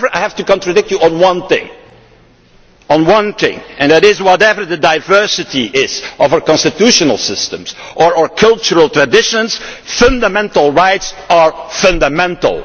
However, I have to contradict you on one thing, and that is, whatever the diversity of our constitutional systems or our cultural traditions, fundamental rights are fundamental.